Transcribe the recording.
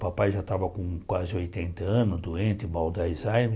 Papai já estava com quase oitenta anos, doente, mal da Alzheimer.